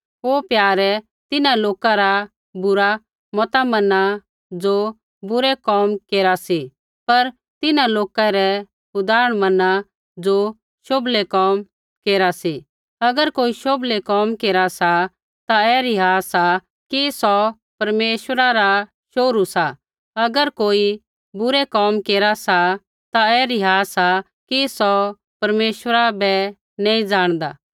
हे प्यारे तिन्हां लोका रा मता मना ज़ो बुरै कोम केरा सी पर तिन्हां लोकै रै उदाहरण मना ज़ो शोभलै कोम केरा सी अगर कोई शोभला कोम केरा सा ता ऐ रिहा सा कि सौ परमेश्वरा रा शोहरू सा अगर कोई बुरै कोम केरा सा ता ऐ रिहा सा कि सौ परमेश्वरा बै नी ज़ाणदा